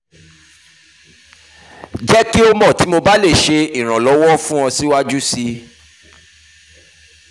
jẹ ki o mọ ti mo ba le ṣe iranlọwọ fun ọ siwaju sii